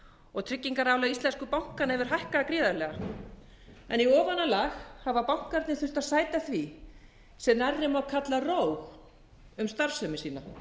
og tryggingarálag íslensku bankanna hefur hækkað gríðarlega þannig að í ofanálag hafa bankarnir þurft að sæta því sem nærri má kalla róg um starfsemi sína